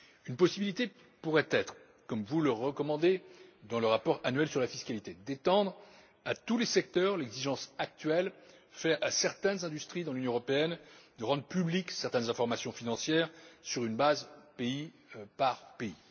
Une possibilité pourrait être comme vous le recommandez dans le rapport annuel sur la fiscalité d'étendre à tous les secteurs l'exigence actuelle, faite à certaines industries dans l'Union européenne, de rendre publiques certaines informations financières pays par pays.